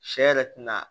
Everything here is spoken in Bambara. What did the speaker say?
Sɛ yɛrɛ tɛna